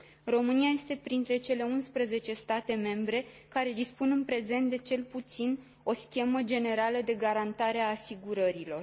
România este printre cele 11 state membre care dispun în prezent de cel puțin o schemă generală de garantare a asigurărilor.